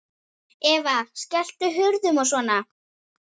Eva: Skelltu hurðum og svona?